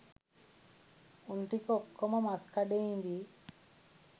උන් ටික ඔක්කොම මස් කඩේ ඉදියි